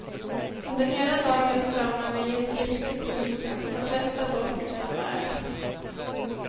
Under hela dagen strömmade det in tips till polisen, de flesta dock utan värde.